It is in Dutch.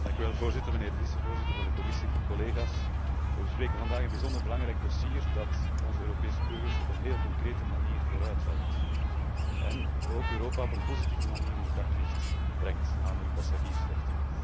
Voorzitter, meneer de vicevoorzitter van de Commissie, collega's, we bespreken vandaag een bijzonder belangrijk dossier dat onze Europese burgers op een heel concrete manier vooruithelpt en ook Europa op een positieve manier in het daglicht brengt, namelijk het dossier van de passagiersrechten.